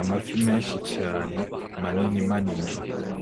Amafi menshi cane manini manini